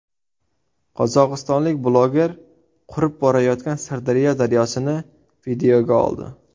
Qozog‘istonlik bloger qurib borayotgan Sirdaryo daryosini videoga oldi .